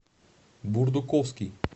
бурдуковский